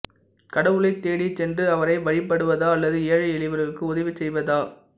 கடவுளைத் தேடிச் சென்று அவரை வழிபடுவதா அல்லது ஏழை எளியவர்களுக்கு உதவி செய்வதா